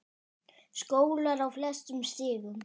Skólar á flestum stigum.